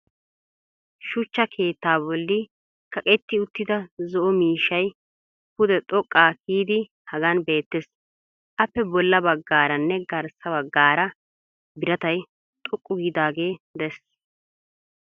shuchcha keettaa bolli kaqetti uttida zo'o miishshay pude xoqaa kiyiidi hagan beetees. appe bolla bagaaranne garssa bagaara biratay xoqqu giidaagee des.